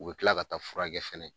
U bi kila ka taa furakɛ fɛnɛ